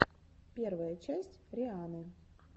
первая часть рианны